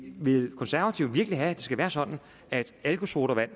vil konservative virkelig have at det skal være sådan at alkosodavand